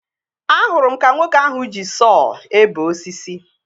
Ahụrụ m ka nwoke ahụ ji sọọ ebe osisi